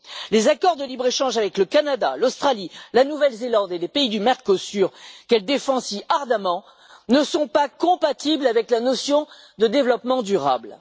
Les accords de libre échange avec le Canada, l'Australie, la Nouvelle Zélande et les pays du Mercosur, qu'elle défend si ardemment, ne sont pas compatibles avec la notion de développement durable.